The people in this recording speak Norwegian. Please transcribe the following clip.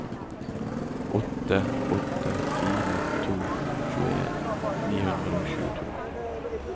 åtte åtte fire to tjueen ni hundre og tjueto